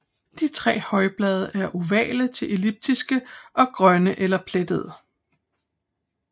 De tre højblade er ovale til elliptiske og grønne eller plettede